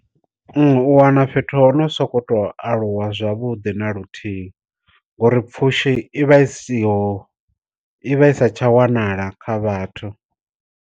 U wana fhethu ho no sokou tou aluwa zwavhuḓi na luthihi, ngori pfushi i vha i siho i vha i sa tsha wanala kha vhathu.